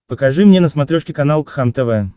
покажи мне на смотрешке канал кхлм тв